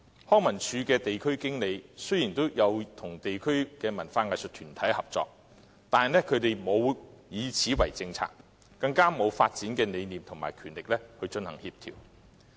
康文署的地區經理與地區的文化藝術團體合作，但卻沒有就此制訂政策，更沒有發展的理念和權力來協調。